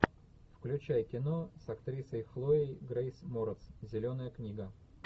включай кино с актрисой хлоей грейс морец зеленая книга